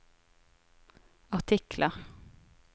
artikler